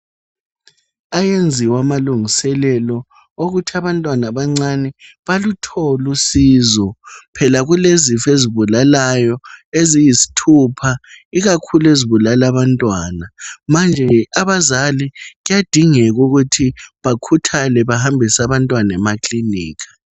Ayenziwa amalungiselelo wokuthi abantwana abancane baluthole usizo phela kulezifo ezibulalayo eziyisithupha ezibulala abantwana manje abazali kuyadingeka ukuthi bakhuthale bahambise abantwana emakilinika.